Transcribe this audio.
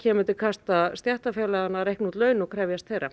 kemur til kasta stéttarfélaganna að reikna út laun og krefjast þeirra